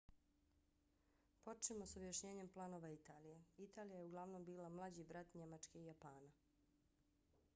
počnimo s objašnjenjem planova italije. italija je uglavnom bila mlađi brat njemačke i japana